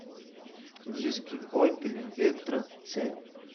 диски опеля вектра ц